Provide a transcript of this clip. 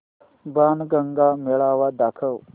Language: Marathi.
बाणगंगा मेळावा दाखव